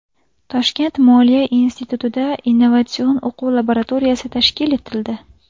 Toshkent moliya institutida innovatsion-o‘quv laboratoriyasi tashkil etildi.